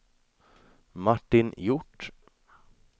Martin Hjort